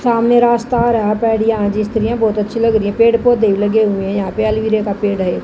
सामने रास्ता आ रहा है पेड़िया है बहुत अच्छी लग रही है पेड़ पौधे लगे हुए हैं यहां पे अलवीरे का पेड़ है।